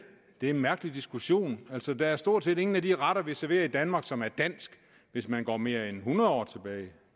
det er en mærkelig diskussion der er stort set ingen af de retter som vi serverer i danmark som er dansk hvis man går mere end hundrede år tilbage